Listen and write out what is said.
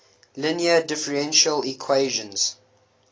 linear differential equations